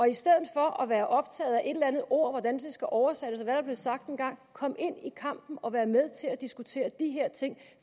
i stedet for at være optaget et eller andet ord skal oversættes og hvad der blev sagt engang kom ind i kampen og vær med til at diskutere de her ting